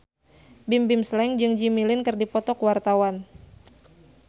Bimbim Slank jeung Jimmy Lin keur dipoto ku wartawan